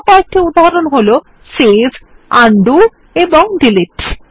আরো কয়েকটি উদাহরণ হল সেভ উন্ডো এবং ডিলিট